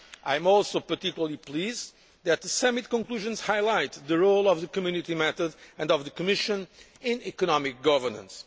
I am also particularly pleased that the Summit conclusions highlighted the role of the Community method and of the Commission in economic governance.